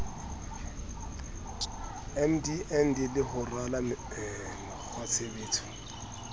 mdnb le ho rala mekgwatshebetso